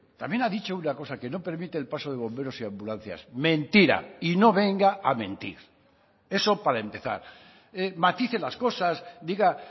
también ha dicho una cosa que no permite el paso de bomberos y ambulancias mentira y no venga a mentir eso para empezar matice las cosas diga